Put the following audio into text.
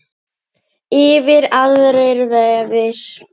Yfir aðrir vefir.